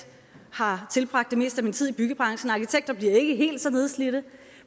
har tilbragt det meste af min tid i byggebranchen arkitekter bliver ikke helt så nedslidte